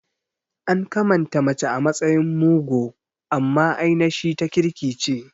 An kamanta mace a matsayin mugo amma ainashi ta kirki ce